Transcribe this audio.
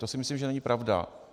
To si myslím, že není pravda.